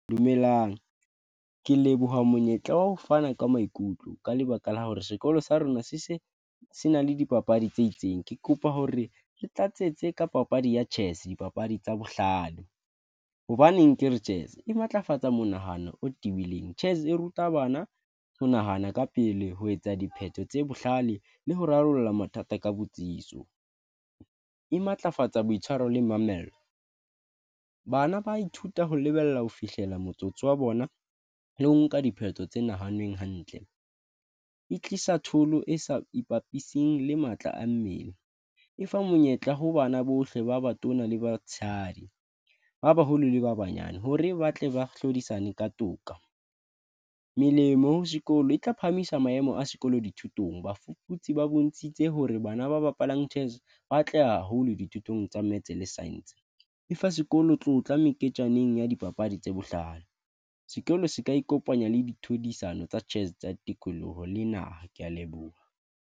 Dumelang ke leboha monyetla wa ho fana ka maikutlo ka lebaka la hore sekolo sa rona se se se na le dipapadi tse itseng, ke kopa hore le tlatsetso ka papadi ya chess dipapadi tsa bohlano hobaneng ke re chess e matlafatsa monahano o tibileng chess e ruta bana ho nahana ka pele ho etsa dipheto tse bohlale le ho rarolla mathata ka botsitso, e matlafatsa boitshwaro le mamello. Bana ba ithuta ho lebella ho fihlela motsotso wa bona. Le ho nka dipheto tse nahaneng hantle, e tlisa thollo e sa ipapisitse le matla a mmele, e fa monyetla ho bana bohle ba batona le batshehadi ba baholo le ba banyane hore ba tle ba hlodisane ka toka. Melemo sekolo e tla phahamisa maemo a sekolo dithutong. Bafuputsi ba bontshitse hore bana ba bapalang Chess ba atleha haholo dithutong tsa Maths le Science e fa sekolo. Tlotla meketjaneng ya dipapadi tse bohlano. Sekolo se ka ikopanya le di tlhodisano tsa chess tsa tikoloho le naha. Ke ya leboha.